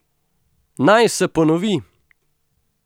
Naj se ponovi!